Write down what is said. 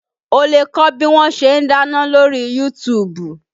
O lè kọ́ bí wọn ṣe ń dáná lóri Yuutubu